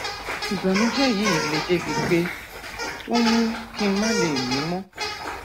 ìbànújẹ yìí le débi pé ó ń mú kí n má lè mí mọ